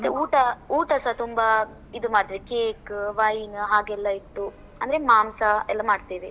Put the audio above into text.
ಮತ್ತೇ ಊಟ ಊಟ ಸ ತುಂಬಾ ಇದು ಮಾಡ್ತೇವೆ. Cake, Wine ಹಾಗೆಲ್ಲ ಇಟ್ಟು, ಅಂದ್ರೆ ಮಾಂಸ ಎಲ್ಲ ಮಾಡ್ತೇವೆ.